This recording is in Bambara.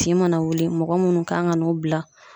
Tin mana wuli ,mɔgɔ munnu kan ka n'o bila